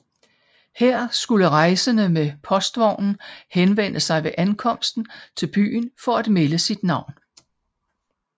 Her skulle rejsende med postvognen henvende sig ved ankomsten til byen for at melde sit navn